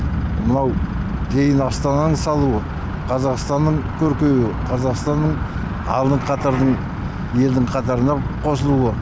мынау кейін астананы салуы қазақстанның көркеюі қазақстанның алдыңғы қатардың елдің қатарына қосылуы